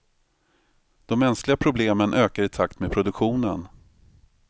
De mänskliga problemen ökar i takt med produktionen.